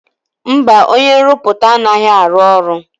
Mba, onye nrụpụta anaghị arụ ọrụ.